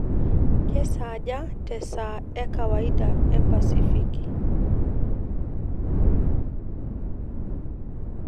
kesaaja te esaa ee kawaida ee pasifiki